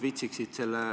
Ma aitan sind.